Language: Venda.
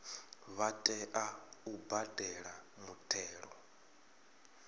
vha tea u badela muthelo